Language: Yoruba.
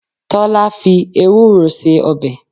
Tọ́lá fi Ewúro se ọbẹ̀.